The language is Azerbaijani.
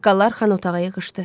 Ağsaqqallar xan otağa yığışdı.